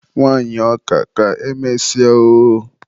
Nwanyị ọka, ka emesịa oooooooo.